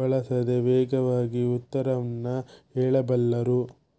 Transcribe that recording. ಬಳಸದೆ ವೇಗವಾಗಿ ಉತ್ತರವ್ನ್ನು ಹೇಳಬಲ್ಲರು